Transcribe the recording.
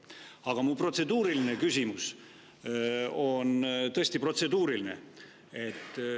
Aga mu protseduuriline küsimus on tõesti protseduuriline.